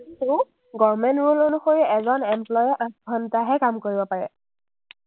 toh government rule এজন employee এ আঠ ঘণ্টাহে কাম কৰিব পাৰে।